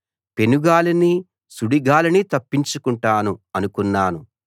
పెనుగాలిని సుడిగాలిని తప్పించుకుంటాను అనుకున్నాను